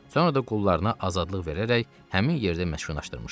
Sonra da qullarına azadlıq verərək həmin yerdə məskunlaşdırmışdı.